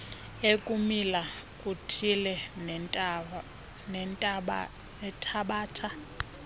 ekumila kuthile nethabatha